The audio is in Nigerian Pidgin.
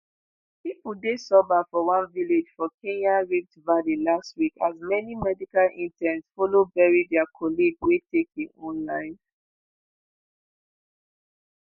pipo dey sober for one village for kenya rift valley last week as many medical interns follow bury dia colleague wey take im own life.